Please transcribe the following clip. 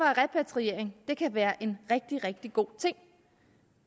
repatriering være en rigtig rigtig god ting